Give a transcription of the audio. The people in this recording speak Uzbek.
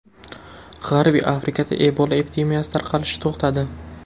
G‘arbiy Afrikada Ebola epidemiyasi tarqalishi to‘xtadi.